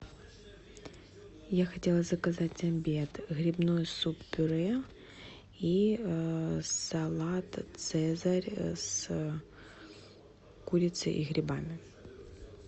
я хотела заказать обед грибной суп пюре и салат цезарь с курицей и грибами